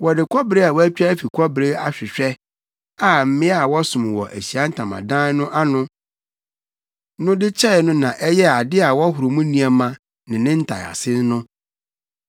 Wɔde kɔbere a wɔatwa afi kɔbere ahwehwɛ a mmea a wɔsom wɔ Ahyiae Ntamadan no ano no de kyɛe no na ɛyɛɛ ade a wɔhoro mu nneɛma ne ne ntaease no.